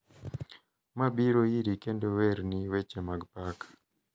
Ma biro iri kendo werni weche mag pak,